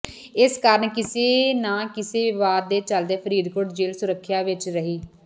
ਇਸ ਕਾਰਨ ਕਿਸੇ ਨਾ ਕਿਸੇ ਵਿਵਾਦ ਦੇ ਚਲਦੇ ਫ਼ਰੀਦਕੋਟ ਜੇਲ੍ਹ ਸੁਰਖੀਆਂ ਵਿੱਚ ਰਹੀ